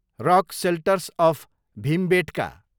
rock shelters of Bhimbetka